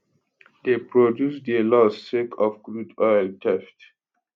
dey produce dey loss sake of crude oil theft